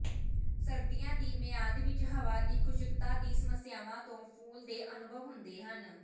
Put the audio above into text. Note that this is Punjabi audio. ਸਰਦੀਆਂ ਦੀ ਮਿਆਦ ਵਿਚ ਹਵਾ ਦੀ ਖੁਸ਼ਕਤਾ ਦੀ ਸਮੱਸਿਆਵਾਂ ਤੋਂ ਫੁੱਲ ਦੇ ਅਨੁਭਵ ਹੁੰਦੇ ਹਨ